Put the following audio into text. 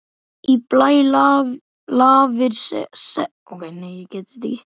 Í blæ lafir seglið bjarta.